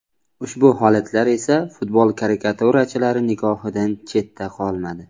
Ushbu holatlar esa futbol karikaturachilari nigohidan chetda qolmadi.